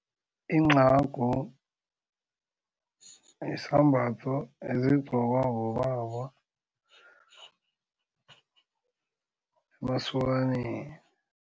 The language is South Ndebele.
Incagu yisambatho esigqokwa bobaba emasokaneni.